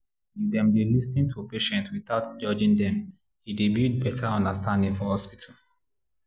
if dem dey lis ten to patients without judging them e dey build better understanding for hospital.